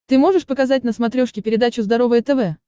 ты можешь показать на смотрешке передачу здоровое тв